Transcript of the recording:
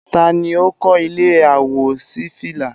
Taa ni ó kọ́ ilé àwòṣífìlà?